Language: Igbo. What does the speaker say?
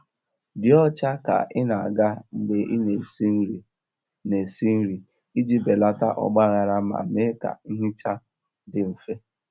Dị ọcha ka ị na-aga mgbe ị na-esi nri na-esi nri iji belata ọgbaghara ma mee ka nhicha dị mfe.